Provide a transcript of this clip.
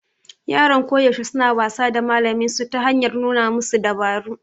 Yaran koyaushe suna wasa da malaminsu ta hanyar nuna masa dabaru